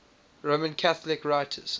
roman catholic writers